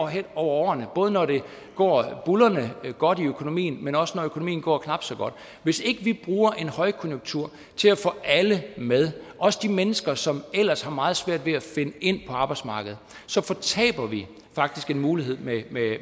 hen over årene både når det går buldrende godt med økonomien men også når økonomien går knap så godt hvis ikke vi bruger en højkonjunktur til at få alle med også de mennesker som ellers har meget svært ved at finde ind på arbejdsmarkedet så fortaber vi faktisk en mulighed